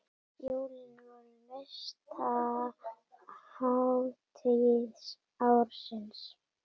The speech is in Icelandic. Jólin voru mesta hátíð ársins.